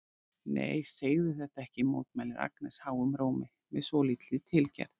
Nei, segðu þetta ekki, mótmælir Agnes háum rómi með svolítilli tilgerð.